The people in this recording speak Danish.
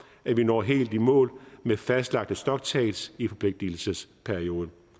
at vi når helt i mål med fastlagte stocktakes i forpligtelsesperioden